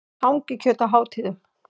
Hangikjöt á hátíðum.